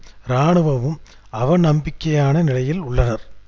எரித்து தரைமட்டமாக்கப்பட்டுள்ளது